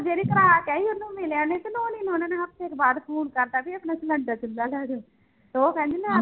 ਜਿਹੜੀ ਕਰਾ ਕੇ ਆਈ ਉਹਨੂੰ ਮਿਲਿਆ ਨੀ ਤੇ ਨੋਣੀ ਹੋਣਾਂ ਉੱਥੇ ਬਾਅਦ phone ਕਰ ਦਿੱਤਾ ਵੀ ਇਸਨੂੰ ਸਿਲੈਂਡਰ ਚੁੱਲਾ ਲੈ ਦਓ ਤੇ ਉਹ ਕਹਿੰਦੀ ਮੈਂ